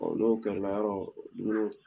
Ɔ n'o kɛra yɔrɔ dumuniw tɛ